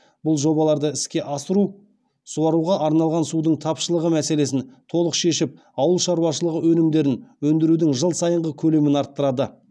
бұл жобаларды іске асыру суаруға арналған судың тапшылығы мәселесін толық шешіп ауыл шаруашылығы өнімдерін өндірудің жыл сайынғы көлемін арттырады